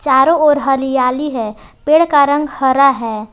चारों ओर हरियाली है पेड़ का रंग हरा है।